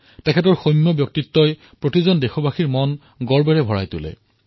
তেওঁৰ সৌম্য ব্যক্তিত্ব প্ৰতিজন দেশবাসীক সদায়েই গৌৰম্বান্বিত কৰে